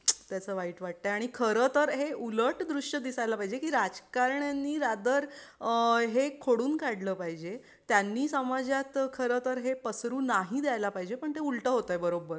याचा वाईट वाटतय. आणि खरं तर हे उलट दृश्य दिसायला पाहिजे की राजकारण्यानी रैदर अ हे खोडून काढल पाहिजे त्यांनी समाजात खरं तर हे पसरु नाही द्यायला पाहिजे पण ते उलट होतय बरोबर.